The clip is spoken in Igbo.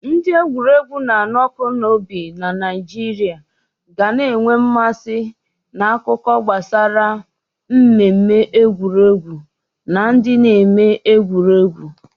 Ndị egwuregwu na-anụ ọkụ n'obi na Naịjirịa ga na-enwe mmasị na akụkọ gbasara mmemme egwuregwu na ndị na-eme egwuregwu.